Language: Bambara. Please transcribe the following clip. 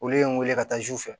Olu ye n wele ka taa zu fɛ